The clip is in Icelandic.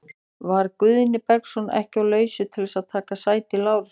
Var Guðni Bergsson ekki á lausu til að taka sæti Lárusar?